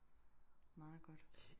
Meget godt